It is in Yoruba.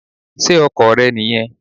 Sé Ọkò rẹ nì yen